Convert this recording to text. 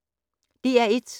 DR1